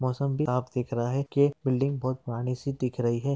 मौसम भी साफ दिख रहा है के बिल्डिंग बहोत पुरानी सी दिख रही है।